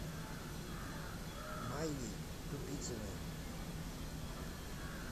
майей тупицыной